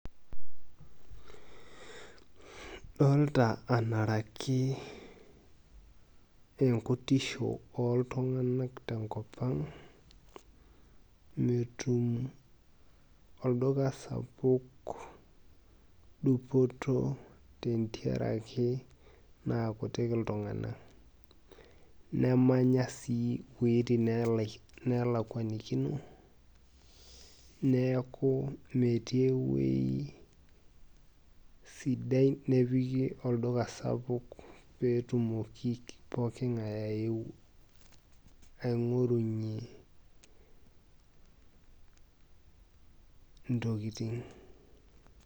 Dolta anaraki enkutisho oltung'anak tenkop ang',metum olduka sapuk dupoto tentiaraki naakutik iltung'anak. Nemanya si iweiting nelakwanikino, neeku metii ewei sidai nipiki olduka sapuk petumoki pooking'ae aeu aing'orunye intokiting'.